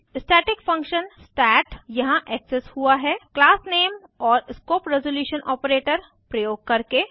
static function stat यहाँ access हुआ है क्लास नामे और स्कोप रिजोल्यूशन आपरेटर प्रयोग करके